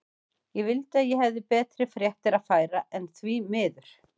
Ég vildi að ég hefði betri fréttir að færa, en því miður.